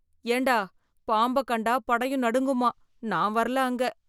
ஏன்டா பாம்பைக் கண்டா படையும் நடுங்குமாம், நான் வரல அங்க.